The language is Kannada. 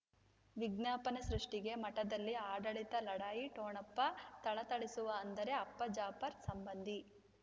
ವಿಜ್ಞಾಪನೆ ಸೃಷ್ಟಿಗೆ ಮಠದಲ್ಲಿ ಆಡಳಿತ ಲಢಾಯಿ ಠೊಣಪ ಥಳಥಳಿಸುವ ಅಂದರೆ ಅಪ್ಪ ಜಾಫರ್ ಸಂಬಂಧಿ